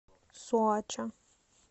соача